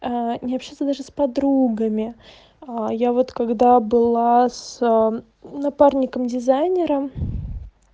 ээ не общаться даже с подругами а я вот когда была с напарником дизайнером